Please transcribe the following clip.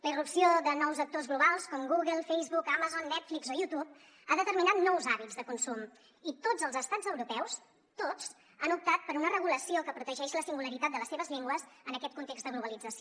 la irrupció de nous actors globals com google facebook amazon netflix o youtube ha determinat nous hàbits de consum i tots els estats europeus tots han optat per una regulació que protegeix la singularitat de les seves llengües en aquest context de globalització